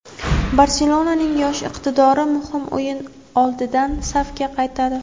"Barselona"ning yosh iqtidori muhim o‘yin oldidan safga qaytadi;.